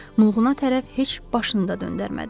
Mığuına tərəf heç başını da döndərmədi.